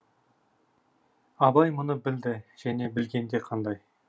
абай мұны білді және білгенде қандай